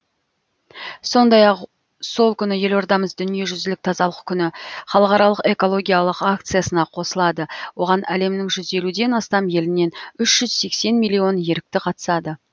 сондай ақ сол күні елордамыз дүниежүзілік тазалық күні халықаралық экологиялық акциясына қосылады оған әлемнің жүз елуден астам елінен үш жүз сексен миллион ерікті қатысады